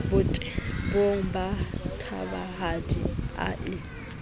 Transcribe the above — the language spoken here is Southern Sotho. botebong ba thabahadi a epe